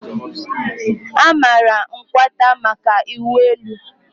a maara Nkwata maka ịwụ elu.